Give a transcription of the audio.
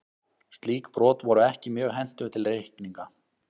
Slík brot voru ekki mjög hentug til reikninga.